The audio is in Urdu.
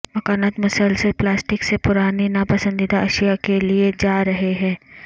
مکانات مسلسل پلاسٹک سے پرانی ناپسندیدہ اشیاء کے لئے جا رہے ہیں